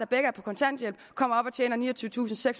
begge er på kontanthjælp kommer op og tjener niogtyvetusinde og